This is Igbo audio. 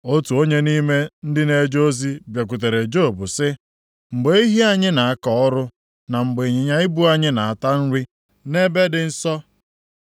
Otu onye nʼime ndị na-eje ozi bịakwutere Job sị, “Mgbe ehi anyị na-akọ ọrụ na mgbe ịnyịnya ibu anyị na-ata nri nʼebe dị nso,